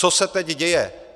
Co se teď děje?